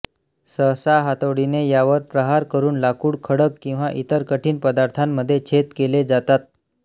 सहसा हातोडीने यावर प्रहार करून लाकूड खडक किंवा इतर कठीण पदार्थांमध्ये छेद केले जातात